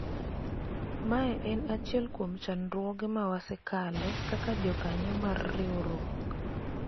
mae en achiel kuom chandruoge ma wasekale kaka jokanyo mar riwruok